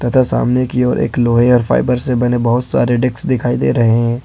तथा सामने की ओर एक लोहे और फाइबर से बने बहुत सारे डेस्क दिखाई दे रहे हैं।